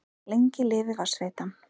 Lengi lifi Vatnsveitan!